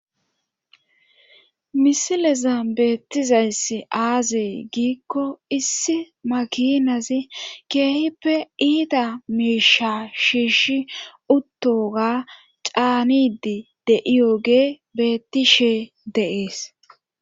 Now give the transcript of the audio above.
Misileza beettizayss aazee giikko issi makinazi keehippe iida miisha shiishi uttoga caanidi de'iyoge beettishee dees.